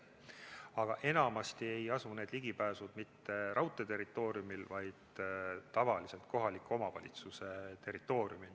Aga enamasti ei asu see ligipääs mitte raudtee territooriumil, vaid tavaliselt on see kohaliku omavalitsuse territooriumil.